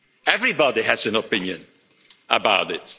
Everybody has an opinion about it.